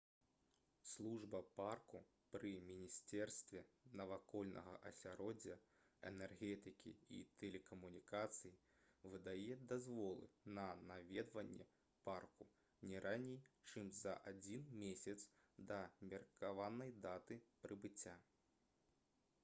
служба парку пры міністэрстве навакольнага асяроддзя энергетыкі і тэлекамунікацый выдае дазволы на наведванне парку не раней чым за адзін месяц да меркаванай даты прыбыцця